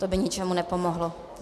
To by ničemu nepomohlo.